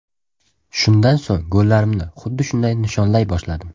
Shundan so‘ng gollarimni xuddi shunday nishonlay boshladim.